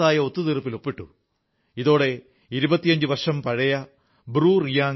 ഇതോടെ 25 വർഷം പഴയ ബ്രൂ റിയാംഗ് അഭയാർഥി പ്രശ്നം വേദനിപ്പിക്കുന്ന ഒരു അധ്യായത്തിന് അന്ത്യം കുറിക്കപ്പെട്ടു